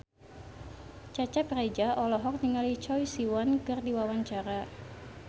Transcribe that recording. Cecep Reza olohok ningali Choi Siwon keur diwawancara